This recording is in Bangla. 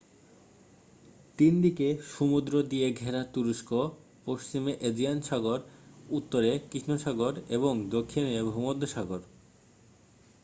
3দিকে সমুদ্র দিয়ে ঘেরা তুরস্ক পশ্চিমে এজিয়ান সাগর উত্তরে কৃষ্ণ সাগর এবং দক্ষিণে ভূমধ্যসাগর